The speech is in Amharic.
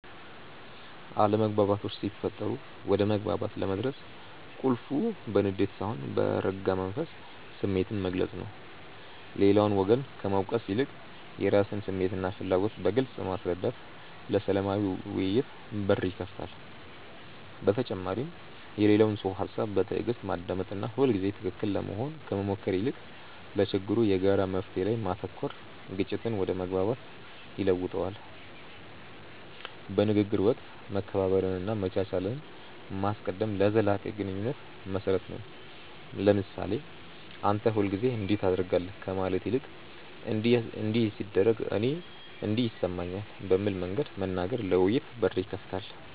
አለመግባባቶች ሲፈጠሩ ወደ መግባባት ለመድረስ ቁልፉ በንዴት ሳይሆን በረጋ መንፈስ ስሜትን መግለጽ ነው። ሌላውን ወገን ከመውቀስ ይልቅ የራስን ስሜትና ፍላጎት በግልጽ ማስረዳት ለሰላማዊ ውይይት በር ይከፍታል። በተጨማሪም የሌላውን ሰው ሃሳብ በትዕግስት ማዳመጥና ሁልጊዜ ትክክል ለመሆን ከመሞከር ይልቅ ለችግሩ የጋራ መፍትሔ ላይ ማተኮር ግጭትን ወደ መግባባት ይለውጠዋል። በንግግር ወቅት መከባበርንና መቻቻልን ማስቀደም ለዘላቂ ግንኙነት መሰረት ነው። ለምሳሌ "አንተ ሁልጊዜ እንዲህ ታደርጋለህ" ከማለት ይልቅ "እንዲህ ሲደረግ እኔ እንዲህ ይሰማኛል" በሚል መንገድ መናገር ለውይይት በር ይከፍታል።